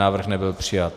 Návrh nebyl přijat.